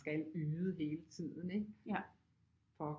Skal yde hele tiden ikke for